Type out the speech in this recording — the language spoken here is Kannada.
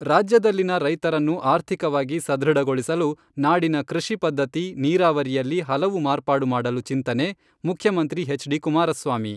ರಾಜ್ಯದಲ್ಲಿನ ರೈತರನ್ನು ಆರ್ಥಿಕವಾಗಿ ಸದೃಢಗೊಳಿಸಲು ನಾಡಿನ ಕೃಷಿ ಪದ್ಧತಿ, ನೀರಾವರಿಯಲ್ಲಿ ಹಲವು ಮಾರ್ಪಾಡು ಮಾಡಲು ಚಿಂತನೆ, ಮುಖ್ಯಮಂತ್ರಿ ಎಚ್ ಡಿ ಕುಮಾರಸ್ವಾಮಿ.